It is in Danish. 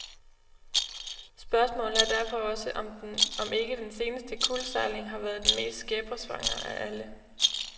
Spørgsmålet er derfor også, om ikke den seneste kuldsejling har været den mest skæbnesvangre af alle?